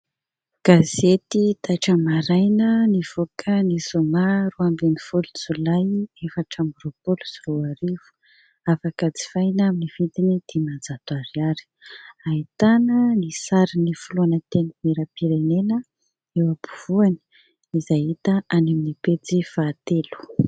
Gazety "taitra maraina" nivoaka ny zoma roa ambin'ny folo Jolay efatra amby roapolo sy roa arivo, afaka jifaina amin'ny vidiny dimanjato ariary. Ahitana ny sarin'ny filoha na antenimieram-pirenena eo ampovoany, izay hita any amin'ny pejy fahatelo.